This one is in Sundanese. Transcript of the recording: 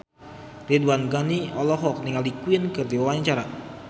Ridwan Ghani olohok ningali Queen keur diwawancara